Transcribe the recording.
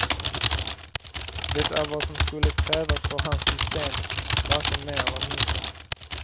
Det är vad som skulle krävas för hans system, varken mer eller mindre.